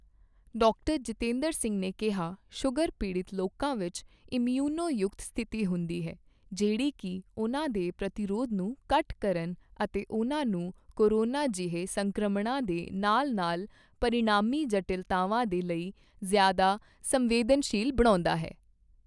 Doctor Jitendra Singh ਨੇ ਕਿਹਾ, sugar ਪੀੜਤ ਲੋਕਾ ਵਿੱਚ ਇਮਯੂਨੋ ਯੁਕਤ ਸਥਿਤੀ ਹੁੰਦੀ ਹੈ, ਜਿਹੜੀ ਕੀ ਉਨ੍ਹਾਂ ਦੇ ਪ੍ਰਤੀਰੋਧ ਨੂੰ ਘੱਟ ਕਰਨ ਅਤੇ ਉਨ੍ਹਾਂ ਨੁੰ ਕੋਰੋਨਾ ਜਿਹੇ ਸੰਕ੍ਰਮਣਾਂ ਦੇ ਨਾਲ ਨਾਲ ਪਰਿਣਾਮੀ ਜਟਿਲਤਾਵਾਂ ਦੇ ਲਈ ਜ਼ਿਆਦਾ ਸੰਵੇਦਨਸ਼ੀਲ਼ ਬਣਾਉਂਦਾ ਹੈ।